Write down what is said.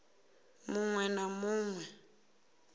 mu ṅwe na mu ṅwe